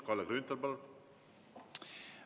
Kalle Grünthal, palun!